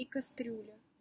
и кастрюля